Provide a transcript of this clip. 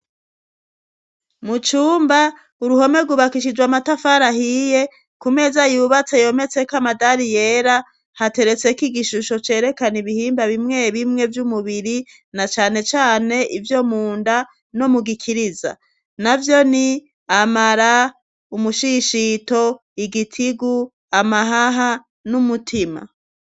Mu cumba uruhome rwubakishijwe amatafari ahiye ku meza yubatse yometse ko amadari yera hateretseko igishusho cerekana ibihimba bimwe bimwe vy'umubiri na cane cane ivyo munda no mu gikiriza navyo ni: amara, umushishito, igitigu, amahaha n'umutima.